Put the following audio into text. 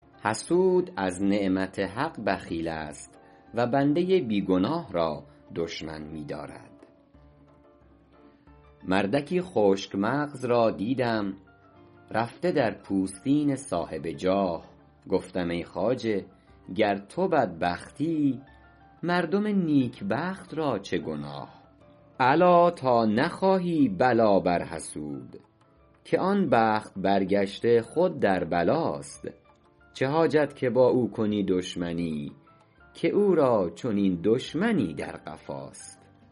حسود از نعمت حق بخیل است و بنده بی گناه را دشمن می دارد مردکی خشک مغز را دیدم رفته در پوستین صاحب جاه گفتم ای خواجه گر تو بدبختی مردم نیکبخت را چه گناه الا تا نخواهی بلا بر حسود که آن بخت برگشته خود در بلاست چه حاجت که با او کنی دشمنی که او را چنین دشمنی در قفاست